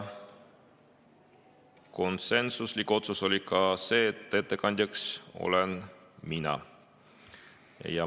Konsensuslik otsus oli see, et ettekandjaks olen mina.